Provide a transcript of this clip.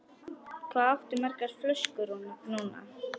Hvað áttu margar flöskur núna?